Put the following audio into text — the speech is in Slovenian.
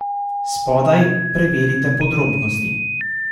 Spodaj preverite podrobnosti!